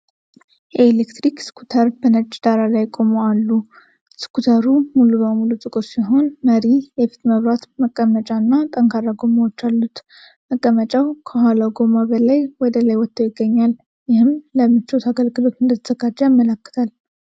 የኤሌክትሪክ ስኩተር በነጭ ዳራ ላይ አቁሞ አሉ። ስኩተሩ ሙሉ በሙሉ ጥቁር ሲሆን፣ መሪ፣ የፊት መብራት፣ መቀመጫ እና ጠንካራ ጎማዎች አሉት። መቀመጫው ከኋላው ጎማ በላይ ወደ ላይ ወጥቶ ይገኛል፣ ይህም ለምቾት አገልግሎት እንደተዘጋጀ ያመለክታል።